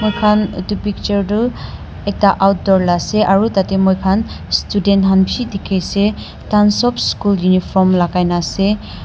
Moikhan etu picture tuh ekta outdoor la ase aro tatey moikhan student khan beshi dekhiase thakhan sob school uniform lagai na ase.